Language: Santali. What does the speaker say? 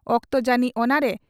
ᱚᱠᱛᱚ ᱡᱟᱱᱤᱡ ᱚᱱᱟᱨᱮ